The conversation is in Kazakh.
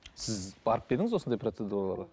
сіз барып па едіңіз осындай процедураларға